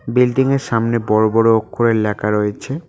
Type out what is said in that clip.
Building -এর সামনে বড় বড় অক্ষরে লেখা রয়েছে।